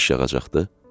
Yağış yağacaqdı.